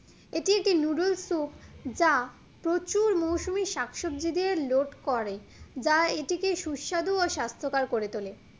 এটি একটি noodles soup যা প্রচুর মৌসুমী শাকসবজি দিয়ে load করে যা এটিকে সুস্বাধু ও স্বাস্থকর করে তোলে